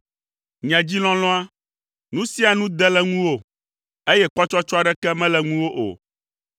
Nye dzi lɔlɔ̃a, nu sia nu de le ŋuwò, eye kpɔtsɔtsɔ aɖeke mele ŋuwò o.